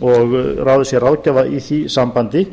og ráðið sé ráðgjafi í því sambandi